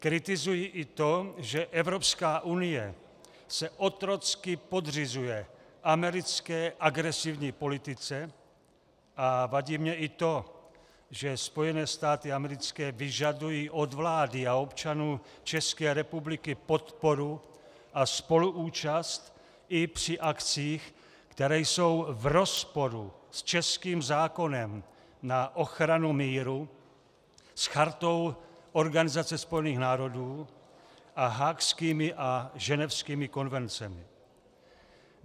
Kritizuji i to, že Evropská unie se otrocky podřizuje americké agresivní politice, a vadí mi i to, že Spojené státy americké vyžadují od vlády a občanů České republiky podporu a spoluúčast i při akcích, které jsou v rozporu s českým zákonem na ochranu míru, s Chartou Organizace spojených národů a haagskými a ženevskými konvencemi.